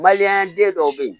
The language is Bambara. Balimanya den dɔw bɛ yen